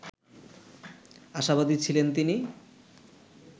আশাবাদী ছিলেন তিনি